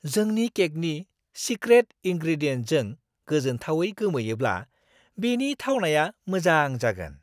जोंनि केकनि सिक्रेट इनग्रेडियेन्टजों गोजोनथावै गोमोयोब्ला, बेनि थावनाया मोजां जागोन!